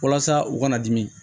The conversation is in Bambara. Walasa u kana dimi